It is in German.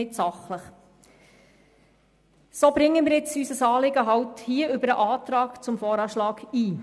Deshalb bringen wir an dieser Stelle unser Anliegen über den Antrag zum VA ein.